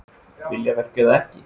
Viljaverk eða ekki?